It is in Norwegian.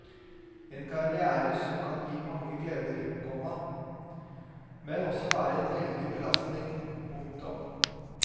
En karriere som kan gi mange gleder, komma men også være en veldig belastning. punktum